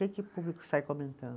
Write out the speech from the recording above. o público sai comentando?